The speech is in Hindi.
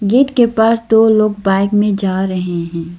गेट के पास दो लोग बाइक में जा रहे हैं।